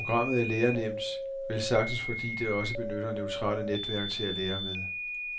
Programmet er lærenemt, velsagtens fordi det også benytter neurale netværk til at lære med.